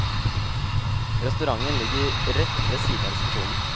Restauranten ligger rett ved siden av resepsjonen.